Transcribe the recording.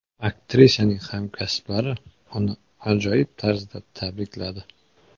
Aktrisaning hamkasblari uni ajoyib tarzda tabrikladi.